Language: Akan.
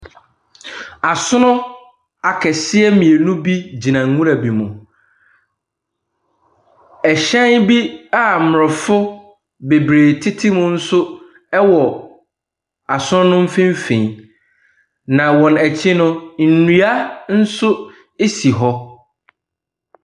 Asono akɛseɛ mmienu bi agyina nwura mu. Hyɛn nso a aborɔfo bebree tete mu nso ɛwɔ asono no mfimfini. Ana wyn akyi no, nnua bi nso asi hɔ.